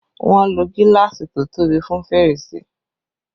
Wọn ló gíláàsì to tóbi fún fèrèsé